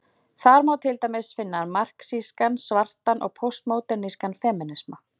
Þar má til dæmis finna marxískan, svartan og póstmódernískan femínisma.